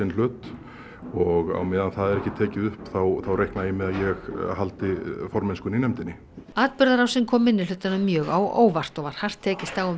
hlut og á meðan það er ekki tekið upp þá reikna ég með að ég haldi formennskunni í nefndinni atburðarásin kom minnihlutanum mjög á óvart og var hart tekist á um